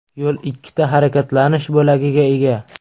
Yo‘l ikkita harakatlanish bo‘lagiga ega.